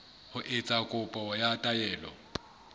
ho etsa kopo ya taelo